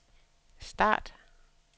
start